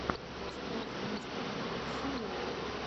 поставь мистер демпси лоу